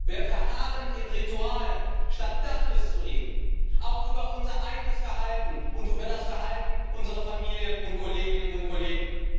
Wir verharren in Ritualen, statt Tacheles zu reden, auch über unser eigenes Verhalten und über das Verhalten unserer Familien und Kolleginnen und Kollegen.